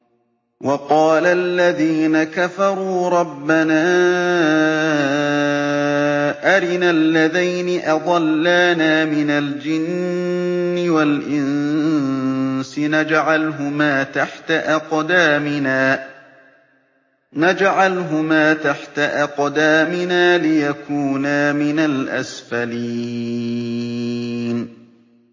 وَقَالَ الَّذِينَ كَفَرُوا رَبَّنَا أَرِنَا اللَّذَيْنِ أَضَلَّانَا مِنَ الْجِنِّ وَالْإِنسِ نَجْعَلْهُمَا تَحْتَ أَقْدَامِنَا لِيَكُونَا مِنَ الْأَسْفَلِينَ